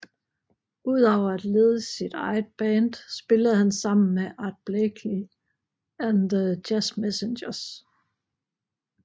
Ud over at lede sit eget band spillede han sammen med Art Blakey and the Jazz Messengers